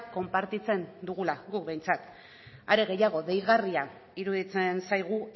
konpartitzen dugula guk behintzat are gehiago deigarria iruditzen zaigu